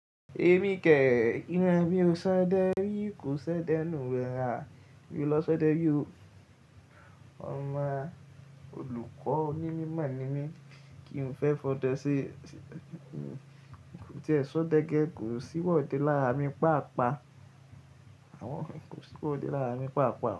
Emi kẹhin, iran mi o ṣo dẹ ri, ko ṣo dẹ nu wera, mi o lọ ṣo dẹ ri o. Oma olukọ oni mimo ni mi, ki n fẹ fọdẹ ṣẹ, ti ẹso dẹ gẹ, ko si wọde lara mi paapa. Awọn nkan ko si wọde lara mi paapa.